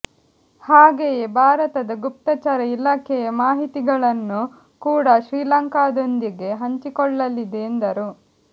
ಹಾಗೆಯೇ ಭಾರತದ ಗುಪ್ತಚರ ಇಲಾಖೆಯ ಮಾಹಿತಿಗಳನ್ನು ಕೂಡ ಶ್ರೀಲಂಕಾದೊಂದಿಗೆ ಹಂಚಿಕೊಳ್ಳಲಿದೆ ಎಂದರು